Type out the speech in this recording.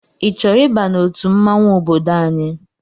I chọrọ ịba n'otu mmanwụ ọbọdọ anyị?